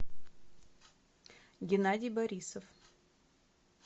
геннадий борисов